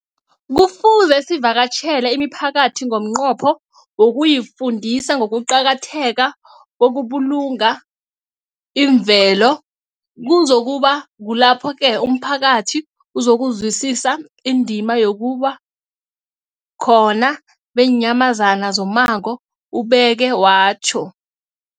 Kufuze sivakatjhele imiphakathi ngomnqopho wokuyifundisa ngokuqakatheka kokubulunga imvelo. Kuzoku ba kulapho-ke umphakathi uzokuzwisisa indima yobukhona beenyamazana zommango, ubeke watjho.